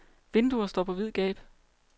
Vinduer står på vid gab.